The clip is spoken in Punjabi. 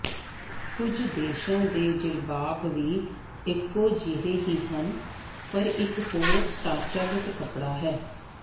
ਕੁਝ ਦੇਸ਼ਾਂ ਦੇ ਜਿਲਬਾਬ ਵੀ ਇਕੋ ਜਿਹੇ ਹੀ ਹਨ ਪਰ ਇਕ ਹੋਰ ਢਾਂਚਾਗਤ ਕੱਪੜਾ ਹੈ